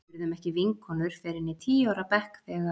Við urðum ekki vinkonur fyrr en í tíu ára bekk þegar